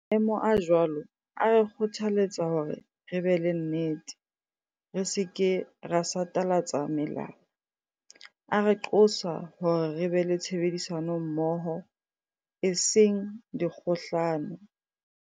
Maemo a jwalo a re kgothaletsa hore re be le nnete, re se ke ra satalatsa melala. A re qosa hore re be le tshebedisa nommoho, e seng dikgohlano.